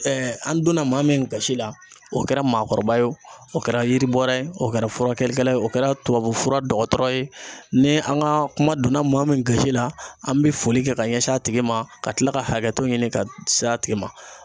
an donna maa min gasi la, o kɛra maakɔrɔba ye, o kɛra yiribɔla ye, o kɛra furakɛlikɛla ye, o kɛra tubabu fura dɔgɔtɔrɔ ye, ni an ka kuma donna maa min gosi la, an bɛ foli kɛ ka ɲɛsin a tigi ma, ka tila ka hakɛto ɲini ka se a tigi ma.